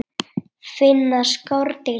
Finna skordýr til?